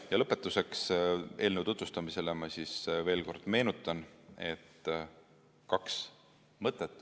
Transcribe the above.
Ja eelnõu tutvustamise lõpetuseks ma veel kord meenutan, et on kaks mõtet.